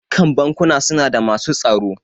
Dukkan bankuna suna da masu tsaro.